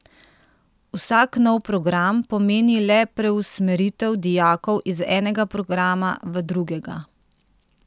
Vsak nov program pomeni le preusmeritev dijakov iz enega programa v drugega.